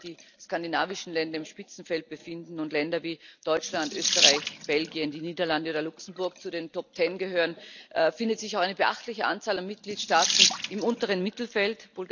Denn während sich die skandinavischen Länder im Spitzenfeld befinden und Länder wie Deutschland, Österreich, Belgien, die Niederlande oder Luxemburg zu den Top Ten gehören, findet sich auch eine beachtliche Anzahl von Mitgliedstaaten im unteren Mittelfeld.